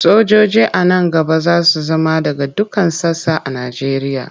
Sojoji a nan gaba za su zama daga dukkan sassa a Nigeria.